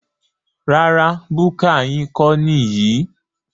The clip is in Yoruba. Rárá búkà yín kọ́ níyì